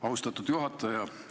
Austatud juhataja!